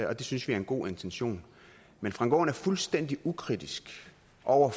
og det synes vi er en god intention men frank aaen er fuldstændig ukritisk og